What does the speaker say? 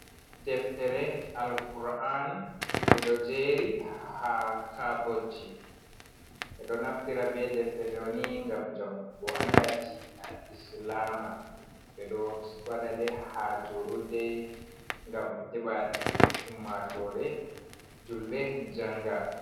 Deftere Alkur'an: Ɓeɗo jeri ha kabodji ɓeɗo naftira be defte ɗo ni ngam jangugo anda deena Islama ɓeɗo waɗa ɗe ha julurɗe ngam heɓa ummatore julɓe janga.